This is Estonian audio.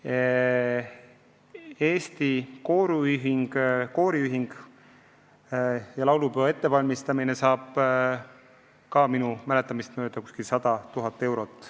Ka Eesti Kooriühingule ja laulupeo ettevalmistamiseks on minu mäletamist mööda eraldatud 100 000 eurot.